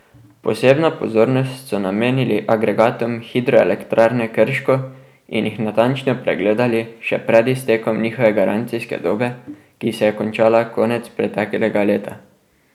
Posebno pozornost so namenili agregatom hidroelektrarne Krško in jih natančno pregledali še pred iztekom njihove garancijske dobe, ki se je končala konec preteklega leta.